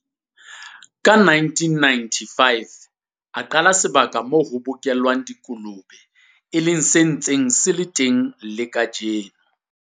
Ka 1995 a qala ka sebaka moo ho bokellwang dikolobe, e leng se ntseng se le teng le kajeno.